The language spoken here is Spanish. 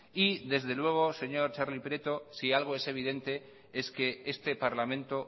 y desde luego señor txarli prieto si algo es evidente es que este parlamento